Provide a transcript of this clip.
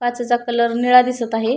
काचेचा कलर निळा दिसत आहे.